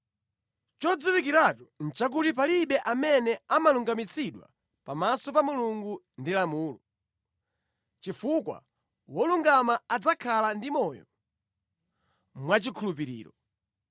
Chodziwikiratu nʼchakuti palibe amene amalungamitsidwa pamaso pa Mulungu ndi lamulo, chifukwa, “Wolungama adzakhala ndi moyo mwachikhulupiriro.”